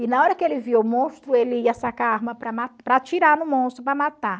E na hora que ele via o monstro, ele ia sacar a arma para ma para atirar no monstro, para matar.